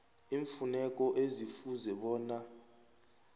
iimfuneko ekufuze bona